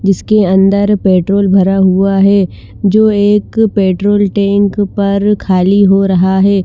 जिसके अन्दर पेट्रोल भरा हुआ है जो एक पेट्रोल टैंक पर खाली हो रहा है।